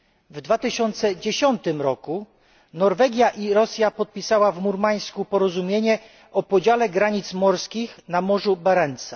W 2010 roku Norwegia i Rosja podpisały w Murmańsku porozumienie o podziale granic morskich na Morzu Barentsa.